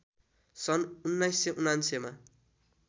सन् १९९९ मा